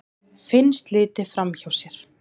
Finnst litið framhjá sér